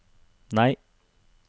nei